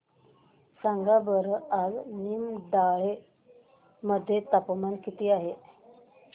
सांगा बरं आज निमडाळे मध्ये तापमान किती आहे